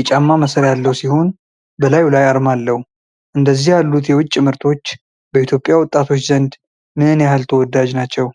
የጫማ ማሰሪያ ያለው ሲሆን፣ በላዩ ላይ አርማ አለው። እንደነዚህ ያሉት የውጭ ምርቶች በኢትዮጵያ ወጣቶች ዘንድ ምን ያህል ተወዳጅ ናቸው?